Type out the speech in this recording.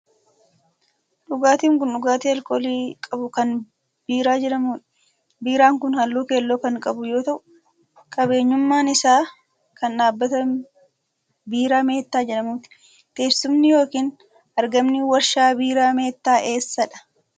Dhugaatin kun, dhugaatii alkoolii qabu kan biiraa jedhamuu dha. Biiraan kun, haalluu keelloo kan qabu yoo ta'u ,qabeenyummaan isaa kan dhaabbata Biiraa Meettaa jedhamuuti. Teessumni yokin argamni warshaa biiraa meettaa eessa dha?